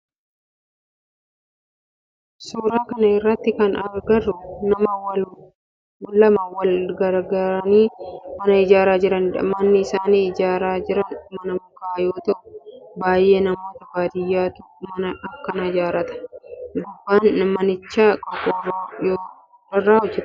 Suuraa kana irratti kana agarru nama lama wal gargaaranii mana ijaaraa jiranidha. Mannii isaan ijaaraa jiran mana mukaa yoo ta'u baayyee namoota baadiyaatu mana akkana ijaarrata. Gubbaan manichaa qorqoorroo irraa hojjetame.